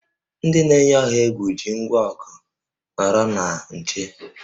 Ndị na-eyi ọha egwu ji ngwa ọgụ, nọrọ na nche!